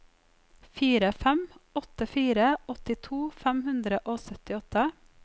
fire fem åtte fire åttito fem hundre og syttiåtte